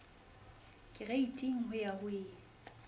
kereiting ho ya ho e